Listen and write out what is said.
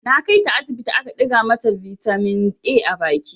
Na kai ta asibiti aka ɗiga mata bitamin A a baki.